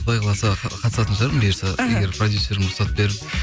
құдай қаласа қатысатын шығармын бұйырса іхі егер продюсерім рұқсат беріп